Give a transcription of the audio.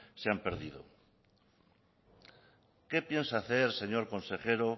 se han perdido qué piensa hacer señor consejero